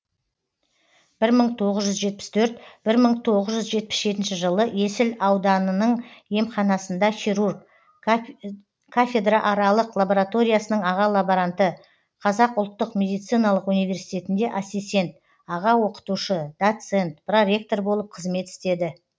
бір мың тоғыз жүз жетпіс төрт бір мың тоғыз жүз жетпіс жетінші жылы есіл ауданың емханасында хирург кафедрааралық лабораториясының аға лаборанты қазақ ұлттық медициналық университетінде ассистент аға оқытушы доцент проректор болып қызмет істеді